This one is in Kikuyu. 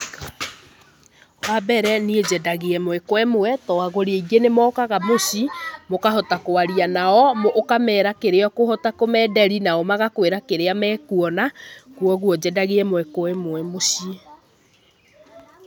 Wa mbere niĩ nyendagia ĩmwe kwa imwe tondũ agũri aingĩ nĩmokaga muciĩ mũkahota kwaria nao ũkamera kĩrĩa ũkũhota kũmenderia nao magakwĩra kĩrĩa mekũona kogwo nyendagia ĩmwe kwa ĩmwe muciĩ.